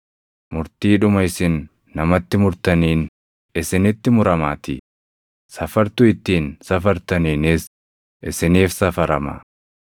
Murtiidhuma isin namatti murtaniin isinitti muramaatii; safartuu ittiin safartaniinis isiniif safarama.